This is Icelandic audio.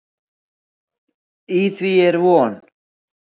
Í því er von.